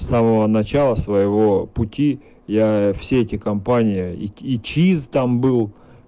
самого начала своего пути я все эти компании и чистом был